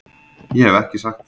Ég hef ekki sagt það!